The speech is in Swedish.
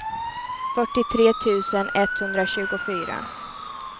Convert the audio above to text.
fyrtiotre tusen etthundratjugofyra